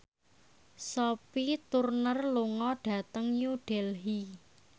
Sophie Turner lunga dhateng New Delhi